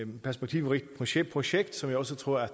perspektivrigt projekt projekt som jeg også tror at